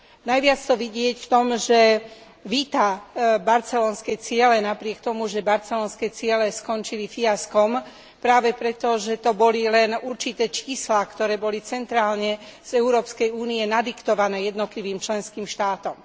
Najviac to vidieť v tom, že víta barcelonské ciele napriek tomu, že barcelonské ciele skončili fiaskom práve preto, že to boli len určité čísla, ktoré boli centrálne z Európskej únie nadiktované jednotlivým členským štátom.